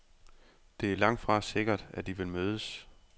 Det er langtfra sikkert, at de vil mødes.